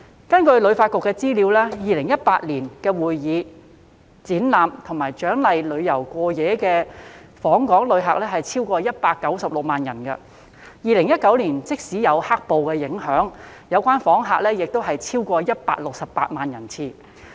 根據香港旅遊發展局的資料 ，2018 年的會議、展覽及獎勵旅遊過夜的訪港旅客超過196萬人次 ，2019 年即使有"黑暴"的影響，有關訪客人數亦超過168萬人次。